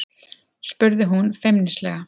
spurði hún feimnislega.